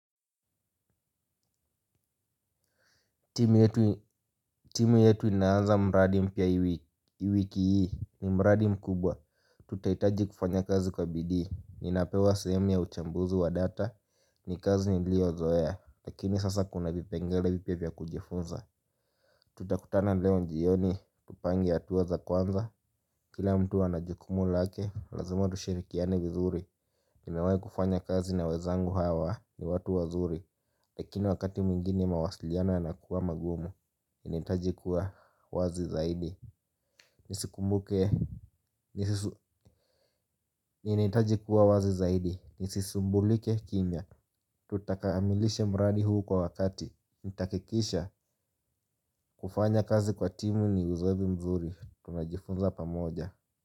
Timu yetu inaanza mradi mpya i wiki hii ni mradi mkubwa. Tutaitaji kufanya kazi kwa bidii. Ninapewa sehemu ya uchambuzi wa data. Ni kazi niliyo zoe. Lakini sasa kuna vipengele vipya vya kujifunza. Tutakutana leo njioni. Tupange atuwa za kwanza. Kila mtu ana jukumu lake. Lazima tushirikiane vizuri nimewai kufanya kazi na wezangu hawa. Ni watu wazuri. Lakini wakati mwingini mawasiliana yanakuwa magumu. Inataji kuwa wazi zaidi. Nisikumbuke. Inaitaji kuwa wazi zaidi. Nisisumbulike kimya. Tutakaamilisha mradi huu kwa wakati. Ntakikisha. Kufanya kazi kwa timu ni uzoevu mzuri. Tunajifunza pamoja.